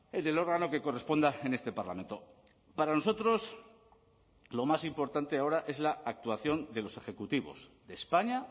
en el órgano que corresponda en este parlamento para nosotros lo más importante ahora es la actuación de los ejecutivos de españa